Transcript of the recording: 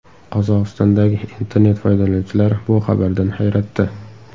Qozog‘istondagi internet foydalanuvchilari bu xabardan hayratda.